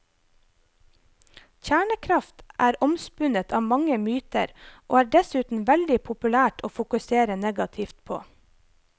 Kjernekraft er omspunnet av mange myter og er dessuten veldig populært å fokusere negativt på.